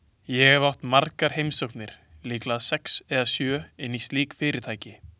Ég hef átt margar heimsóknir, líklega sex eða sjö, inn í slík fyrirtæki.